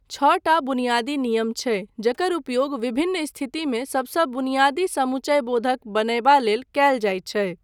छओटा बुनियादी नियम छै जकर उपयोग विभिन्न स्थितिमे सबसँ बुनियादी सम्मुचयबोधक बनयबा लेल कयल जायत छै।